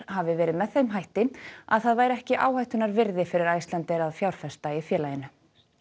hafi verið með þeim hætti að það væri ekki áhættunnar virði fyrir Icelandair að fjárfesta í félaginu